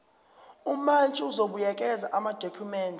umantshi uzobuyekeza amadokhumende